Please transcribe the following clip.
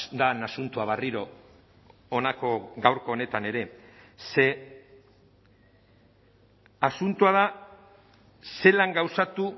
den asuntoa berriro honako gaurko honetan ere ze asuntoa da zelan gauzatu